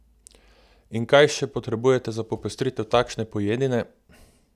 In kaj še potrebujete za popestritev takšne pojedine?